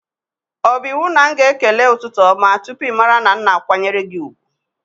O bụ iwu na m ga-ekele ụtụtụ ọma tụpụ ịmara na m na-akwanyere gị ùgwù?